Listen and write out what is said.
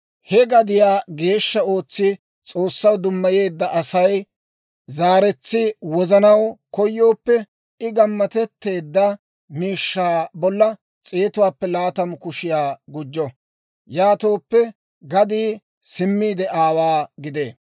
He gadiyaa geeshsha ootsi S'oossaw dummayeedda Asay zaaretsi wozanaw koyooppe, I gammatetteedda miishshaa bolla s'eetuwaappe laatamu kushiyaa gujjo; yaatooppe gadii simmiide aawaa gidee.